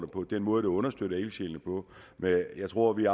på og den måde det understøttede ildsjælene på jeg tror vi